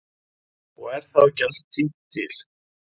Og er þá ekki allt tínt til.